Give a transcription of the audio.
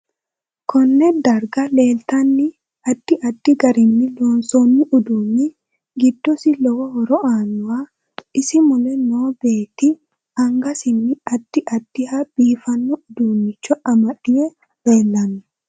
Konne darga leeltano addi addi garinni loonsooni uduuni giddosi lowo horo aanoho isi mule noo beeti angassini addi addiha biifanno uduunicho amadw leelanno